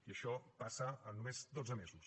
i això passa en només dotze mesos